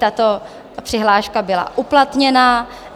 tato přihláška byla uplatněna.